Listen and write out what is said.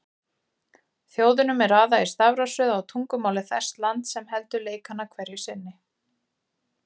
Þjóðunum er raðað í stafrófsröð á tungumáli þess lands sem heldur leikana hverju sinni.